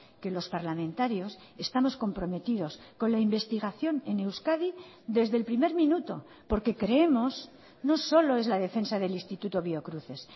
que los parlamentarios estamos comprometidos con la investigación en euskadi desde el primer minuto porque creemos no solo es la defensa del instituto biocruces